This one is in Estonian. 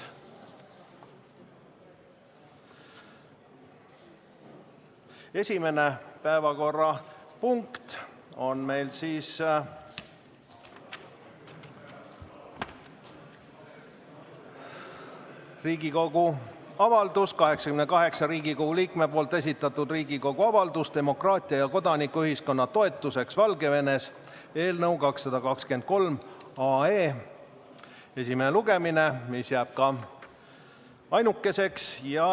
Esimene päevakorrapunkt on Riigikogu avaldus, 88 Riigikogu liikme esitatud Riigikogu avaldus "Demokraatia ja kodanikuühiskonna toetuseks Valgevenes" eelnõu 223 esimene lugemine, mis jääb ka ainukeseks.